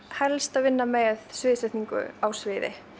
helst að vinna með sviðsetningu á sviði